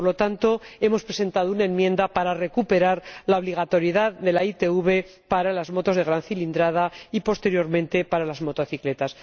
Por lo tanto, hemos presentado una enmienda para recuperar la obligatoriedad de la ITV para las motos de gran cilindrada y, posteriormente, para las motocicletas.